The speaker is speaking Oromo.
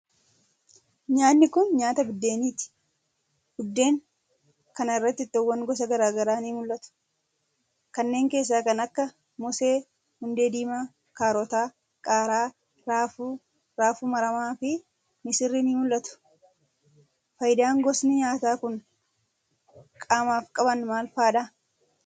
Nyaanni kun, nyaata buddeeniti. Buddeen kana irra ittoowwan gosa garaa garaa ni mul'atu. Kanneen keessaa kan akka ;moosee, hundee diimaa ,kaarota, qaaraa, raafuu, raafuu maramaa, fi misirri ni mul'atu. Faayidaan gosni nyaataa kun qaamaaf qaban maal faa dha?